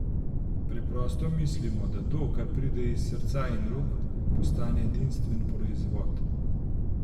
Preprosto mislimo, da to, kar pride iz srca in rok, postane edinstven proizvod.